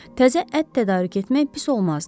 Təzə ət tədarük etmək pis olmazdı.